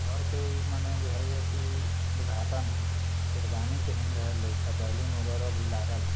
घर के माने भुजाये य की उध्घाटन हैं शेरवानी पेहेनर ले लईका बैलून बगरा भी लागल हैं।